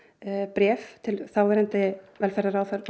bréf til þáverandi velferðarráðherra